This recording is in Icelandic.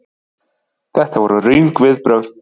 Þetta voru röng viðbrögð.